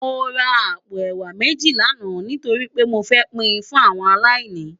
Mó rá àpó èwá méji làná nitóri pé mó fè pin fún áwòn àláìní